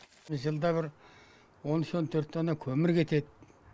жылда бір он үш он төрт тонна көмір кетеді